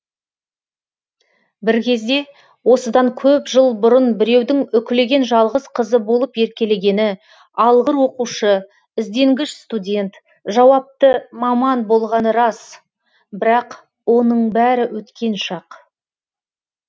бір кезде осыдан көп жыл бұрын біреудің үкілеген жалғыз қызы болып еркелегені алғыр оқушы ізденгіш студент жауапты маман болғаны рас бірақ оның бәрі өткен шақ